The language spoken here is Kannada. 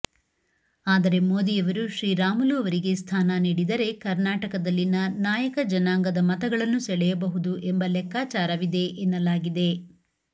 ಆದರೆ ಮೋದಿಯವರು ಶ್ರೀರಾಮುಲು ಅವರಿಗೆ ಸ್ಥಾನ ನೀಡಿದರೆ ಕರ್ನಾಟಕದಲ್ಲಿನ ನಾಯಕ ಜನಾಂಗದ ಮತಗಳನ್ನು ಸೆಳೆಯಬಹುದು ಎಂಬ ಲೆಕ್ಕಚಾರವಿದೆ ಎನ್ನಲಾಗಿದೆ